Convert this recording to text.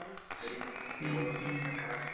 तरी ती तुमची over पूर्ण खराब करतो.